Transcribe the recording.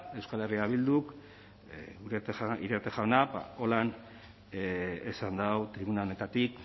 euskal herria bilduk iriarte jaunak ba horrela esan du tribuna honetatik